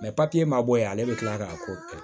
papiye ma bɔ yen ale bɛ kila k'a ko kɛ